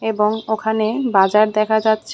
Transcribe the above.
এবং ওখানে বাজার দেখা যাচ্ছে।